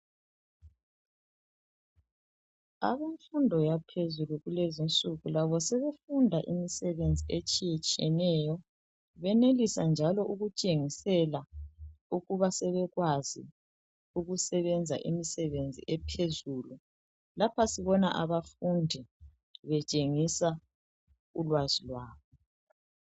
Abemfundo yaphezulu kulezi insuku labo sebefunda imisebenzi etshiyetshiyeneyo benelisa njalo ukutshengisela ukuba sebekwazi ukusebenza imisebenzi ephezulu lapha sibona abafundi betshengisa ulwazi lwabo.